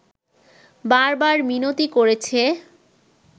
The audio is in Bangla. বার বার মিনতি করেছে